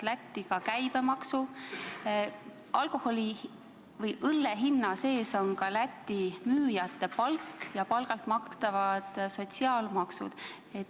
Lätti koguneb ka käibemaks ja alkoholi hinna sees on ka Läti müüjate palk ja palgalt makstavad sotsiaalmaksud.